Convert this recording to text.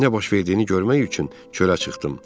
Nə baş verdiyini görmək üçün çölə çıxdım.